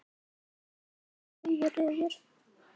Hann er hnusandi rauður refur.